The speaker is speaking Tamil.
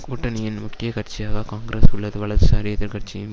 கூட்டணியின் முக்கிய கட்சியாக காங்கிரஸ் உள்ளது வலதுசாரி எதிர்க்கட்சியும்